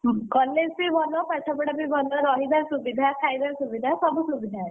College ବି ଭଲ, ପାଠପଢା ବି ଭଲ, ରହିବା ସୁବିଧା, ଖାଇବା ସୁବିଧା, ସବୁ ସୁବିଧା ଅଛି,